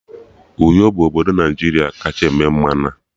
Uyo bụ obodo Naijiria kacha eme mmanụ